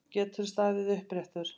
Geturðu staðið uppréttur?